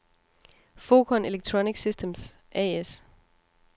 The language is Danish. Focon Electronic Systems A/S